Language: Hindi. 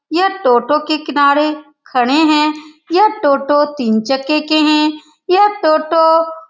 यह टोटो के किनारे खड़े है यह टोटो तीन चक्के के हैं यह टोटो --